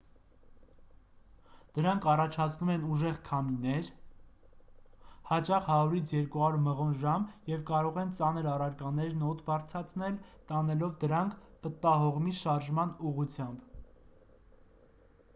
դրանք առաջացնում են ուժեղ քամիներ հաճախ 100 - 200 մղոն/ժամ և կարող են ծանր առարկաներն օդ բարձրացնել՝ տանելով դրանք պտտահողմի շարժման ուղղությամբ։